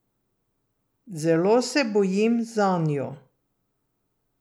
Zelo se bojim zanju.